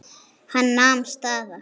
Hann nam staðar.